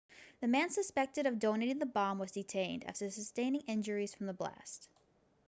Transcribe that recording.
the man suspected of detonating the bomb was detained after sustaining injuries from the blast